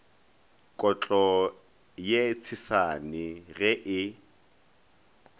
kotlo ye tshesane ge e